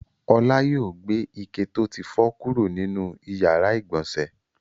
Ọlá yóò gbé ike tó ti fọ́ kúrò nínú ìyàrá-ìgbọ̀nsẹ̀.